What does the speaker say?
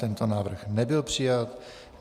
Tento návrh nebyl přijat.